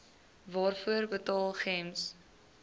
waarvoor betaal gems